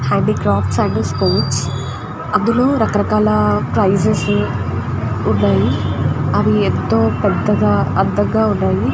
Handicrafts and sports అందులో రకరకాల prizes ఉన్నాయి అవి ఎంతో పెద్దగా అందంగా ఉన్నాయి.